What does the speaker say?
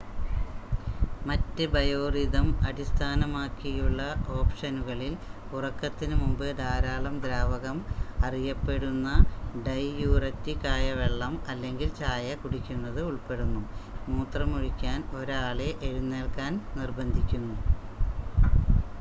മറ്റ് ബയോറിഥം അടിസ്ഥാനമാക്കിയുള്ള ഓപ്ഷനുകളിൽ ഉറക്കത്തിന് മുമ്പ് ധാരാളം ദ്രാവകം അറിയപ്പെടുന്ന ഡൈയൂററ്റിക് ആയ വെള്ളം അല്ലെങ്കിൽ ചായ കുടിക്കുന്നത് ഉൾപ്പെടുന്നു മൂത്രമൊഴിക്കാൻ 1 ആളെ എഴുന്നേൽക്കാൻ നിർബന്ധിക്കുന്നു